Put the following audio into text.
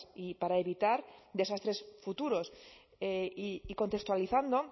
y para evitar desastres futuros y contextualizando